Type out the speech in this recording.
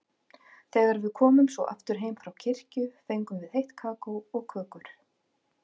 Þegar við komum svo aftur heim frá kirkju fengum við heitt kakó og kökur.